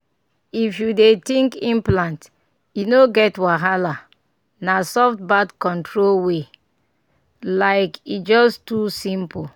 if you dey think implant e no get wahala — na soft birth control way like e just too simple.